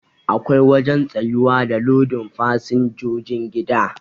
Akwai wajen tsayuwa da lodin fasinjojin gida